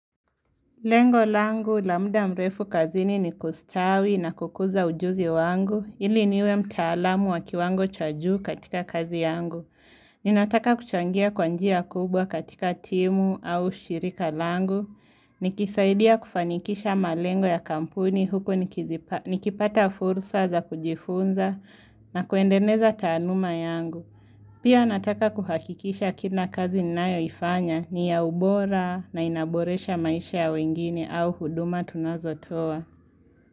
Lengo langu, la muda mrefu kazini ni kustawi na kukuza ujuzi wangu, ili niwe mtaalamu waki wango cha juu katika kazi yangu. Ninataka kuchangia kwa njia kubwa katika timu au shirika langu, nikisaidia kufanikisha malengo ya kampuni huku nikipata fursa za kujifunza na kuendeleza taaluma yangu. Pia nataka kuhakikisha kila kazi ninayoifanya ni ya ubora na inaboresha maisha ya wengine au huduma tunazotoa.